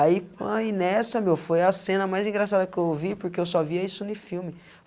Aí pã, e nessa, meu, foi a cena mais engraçada que eu vi, porque eu só via isso em filme.